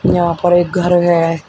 यहां पर एक घर है।